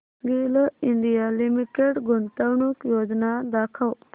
गेल India limited गुंतवणूक योजना दाखव